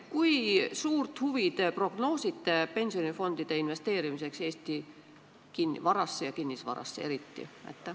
Kui suurt pensionifondide huvi te prognoosite Eesti varasse, eriti kinnisvarasse investeerimise vastu?